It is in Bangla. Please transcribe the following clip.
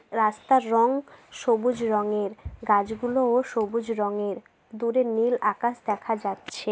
রাস্তার রঙ সবুজ রঙের গাছগুলোও সবুজ রঙের দূরে নীল আকাশ দেখা যাচ্ছে।